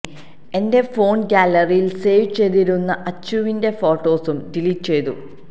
എന്റെ ഫോൺ ഗാലറിയിൽ സേവ് ചെയ്തിരുന്ന അച്ചുവിന്റെ ഫോട്ടോസും ഡിലീറ്റ് ചെയ്തു